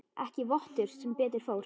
Ekki vottur sem betur fór.